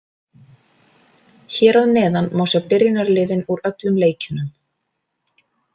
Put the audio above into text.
Hér að neðan má sjá byrjunarliðin úr öllum leikjunum.